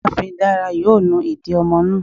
Ìyáàfín Dara yóò nù idì ọmọ náà